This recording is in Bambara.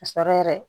Ka sɔrɔ yɛrɛ